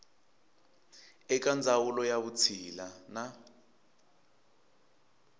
eka ndzawulo ya vutshila na